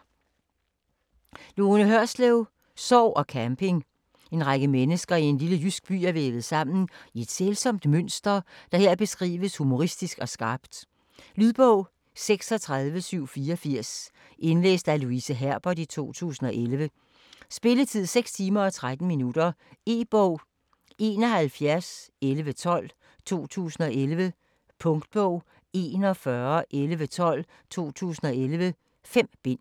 Hørslev, Lone: Sorg og camping En række mennesker i en lille jysk by er vævet sammen i et sælsomt mønster, der her beskrives humoristisk og skrapt. Lydbog 36784 Indlæst af Louise Herbert, 2011. Spilletid: 6 timer, 13 minutter. E-bog 711112 2011. Punktbog 411112 2011. 5 bind.